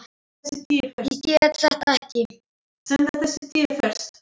Ég get þetta ekki.